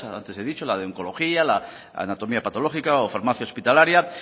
antes he dicho la de oncología la de anatomía patológica o farmacia hospitalaria